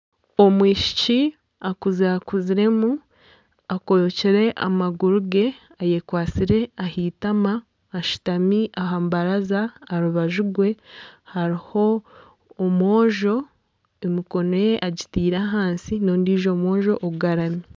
Omwishiki akuzakuziremu akobekire amaguru ge ayekwatsire aheitama ashutami aha mbaraza aha rubaju rwe hariho omwojo emikono ye agitiire ahansi n'ondiijo mwojo agarami